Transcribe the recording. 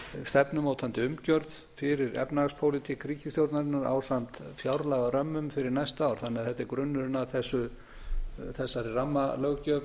stefnumótandi umgjörð fyrir efnahagspólitík ríkisstjórnarinnar ásamt fjárlagarömmum fyrir næsta ár þannig að þetta er grunnurinn að þessari rammalöggjöf